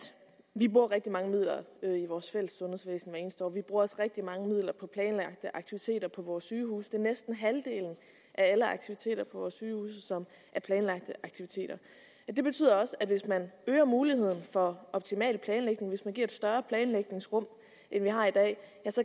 vi bruger rigtig mange midler i vores fælles sundhedsvæsen hvert eneste år vi bruger også rigtig mange midler på planlagte aktiviteter på vores sygehuse det er næsten halvdelen af alle aktiviteter på vores sygehuse som er planlagte aktiviteter det betyder også at hvis man øger muligheden for optimal planlægning hvis man giver et større planlægningsrum end vi har i dag